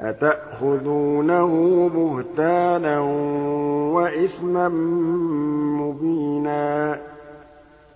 أَتَأْخُذُونَهُ بُهْتَانًا وَإِثْمًا مُّبِينًا